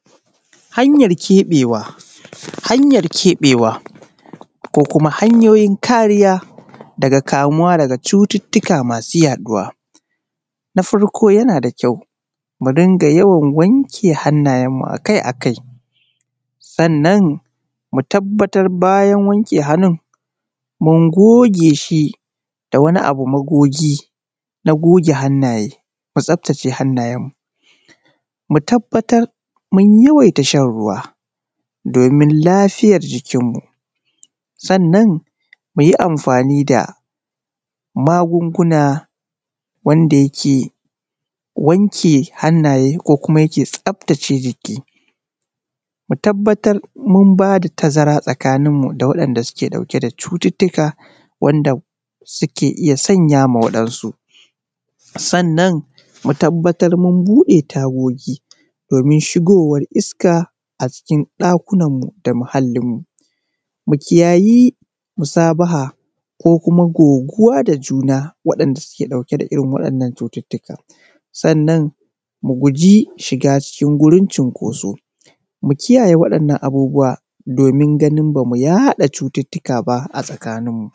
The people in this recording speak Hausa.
Hanyar ke:ɓewa ko kuma hanyoyin kariya daga ka:muwa daga cututtuka masu: yaɗuwa. Na farko yana da kya mu dinga yawan wanke hannayenmu akai-akaI, sannan mu tabbatar bayan wanke: hannun mun goge:shi da wani abu ma:gogi na go:ge hannaye. Mu tsaftace hannayenmu, mu tabbatar mun yawaita shan ruwa domin lafiyar jikirmu sannan mu yi amfani da magunguna wanda yake: wanke hannaye: ko kuma yake: tsaftace jiki. Mu tabbatar mun bada tazara tsakaninmu da waɗanda suke ɗauke da cututtuka, wanda suke iya sanya ma waɗansu, sannan mu tabbatar mun buɗe: tago:gi domin shigowar iska a cikin ɗakunan mu da muhallinmu. Mu kiyayi musabaha ko kuma go:guwa da juna waɗanda suke ɗauke da irin waɗannan cututtuka, sannan mu gujji shiga cikin gurin cinkoso mu kiyaye waɗannan abubuwa domin ganin ba mu yaɗa: cututtuka ba a tsakaninmu.